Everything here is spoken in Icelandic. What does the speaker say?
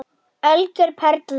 Algjör perla.